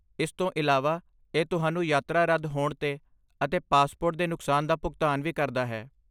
ਇਸ ਤੋਂ ਇਲਾਵਾ, ਇਹ ਤੁਹਾਨੂੰ ਯਾਤਰਾ ਰੱਦ ਹੋਣ ਤੇ ਅਤੇ ਪਾਸਪੋਰਟ ਦੇ ਨੁਕਸਾਨ ਦਾ ਭੁਗਤਾਨ ਵੀ ਕਰਦਾ ਹੈ।